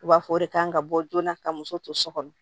U b'a fɔ o de kan ka bɔ joona ka muso to so kɔnɔ